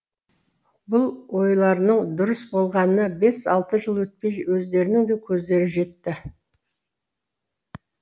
бұл ойларының дұрыс болғанына бес алты жыл өтпей өздерінің де көздері жетті